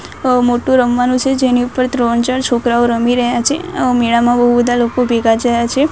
અ મોટુ રમવાનુ છે જેની ઉપર ત્રણ ચાર છોકરાઓ રમી રહ્યા છે અ મેડામાં બો બધા લોકો ભેગા થયા છે.